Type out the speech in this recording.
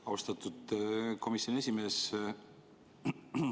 Austatud komisjoni esimees!